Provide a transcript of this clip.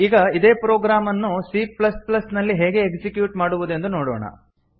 ಈಗ ಇದೇ ಪ್ರೊಗ್ರಾಮ್ ಅನ್ನು ಸಿ ಪ್ಲಸ್ ಪ್ಲಸ್ ನಲ್ಲಿ ಹೇಗೆ ಎಕ್ಸಿಕ್ಯೂಟ್ ಮಾಡುವುದೆಂದು ನೋಡೋಣ